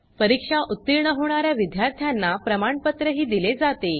परीक्षा उतीर्ण होणा या विद्यार्थ्यांना प्रमाणपत्रही दिले जाते